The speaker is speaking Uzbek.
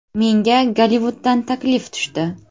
Menga Gollivuddan taklif tushdi.